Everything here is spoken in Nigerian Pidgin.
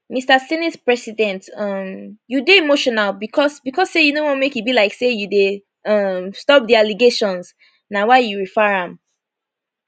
mr senate president um you dey emotional becos becos say you no wan make e belike say you dey um stop di allegations na why you refer am